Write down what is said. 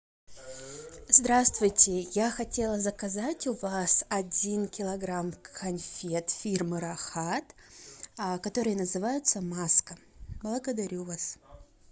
здравствуйте я хотела заказать у вас один килограмм конфет фирмы рахат которые называются маска благодарю вас